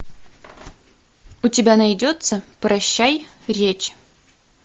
у тебя найдется прощай речь